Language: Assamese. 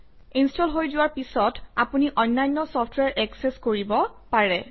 ইনষ্টল হৈ যোৱাৰ পিছত আপুনি অন্যান্য চফট্ৱেৰ একচেচ কৰিব পাৰে